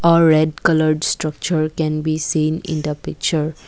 a red colour structure can be seen in the picture.